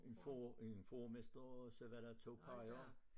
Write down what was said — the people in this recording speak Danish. En får en fåremester og så var der 2 peia